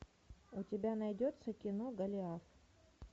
у тебя найдется кино голиаф